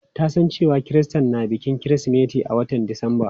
Ta san cewa Kirista na bikin kirismeti a watan disamba.